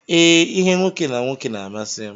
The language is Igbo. Ee, ihe nwoke na nwoke na amasi m.